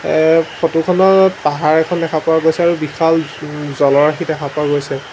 এই ফটো খনত পাহাৰ এখন দেখা পোৱা গৈছে আৰু বিশাল জলৰাশি দেখা পোৱা গৈছে।